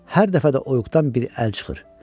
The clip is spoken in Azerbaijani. Hər dəfə də oyuğdan bir əl çıxır.